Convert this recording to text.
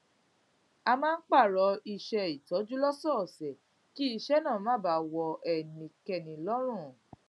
a máa ń pààrọ iṣé ìtọjú lósòòsè kí iṣẹ náà má baà wọ ẹnìkan lọrùn